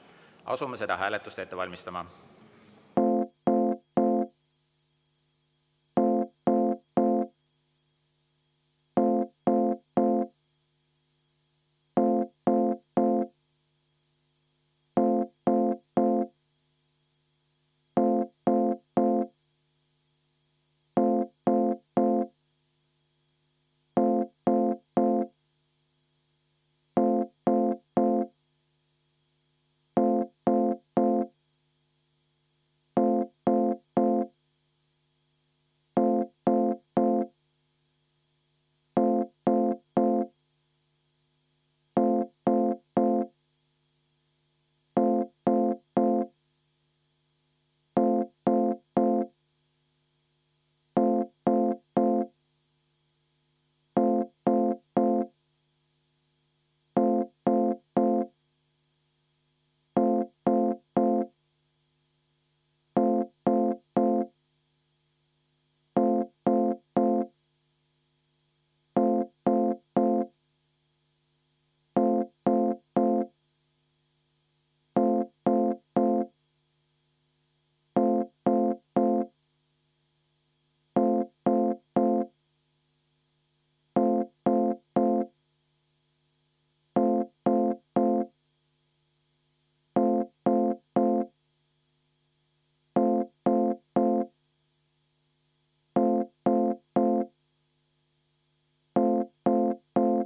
Asume seda hääletust ette valmistama.